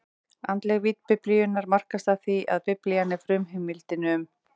Andleg vídd Biblíunnar markast af því, að Biblían er frumheimildin um